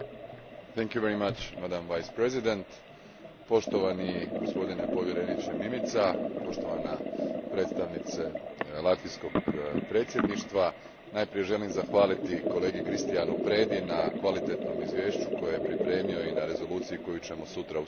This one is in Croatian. Gospođo predsjednice, poštovani gospodine povjereniče Mimica, poštovana predstavnice latvijskoj predsjedništva, najprije želim zahvaliti kolegi Cristianu Predi na kvalitetnom izvješću koje je pripremio i na rezoluciji koju ćemo sutra usvojiti.